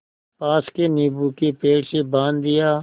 पास के नीबू के पेड़ से बाँध दिया